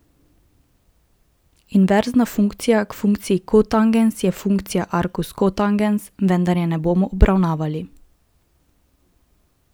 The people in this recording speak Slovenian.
Inverzna funkcija k funkciji kotangens je funkcija arkus kotangens, vendar je ne bomo obravnavali.